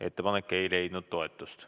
Ettepanek ei leidnud toetust.